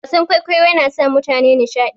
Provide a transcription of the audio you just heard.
Wasan kwaikwayo yana sa mutane nishadi.